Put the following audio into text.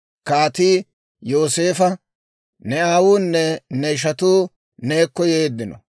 Kaatii Yooseefo, «Ne aawunne ne ishatuu neekko yeeddino.